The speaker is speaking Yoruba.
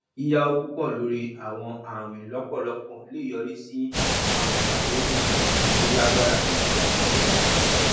yíyàwò púpọ lórí àwọn àwìn lọpọlọpọ lè yọrí sí àwọn àdéhùn gbèsè tó lágbára ní kìákìá